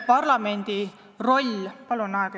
Palun, kolm minutit juurde!